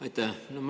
Aitäh!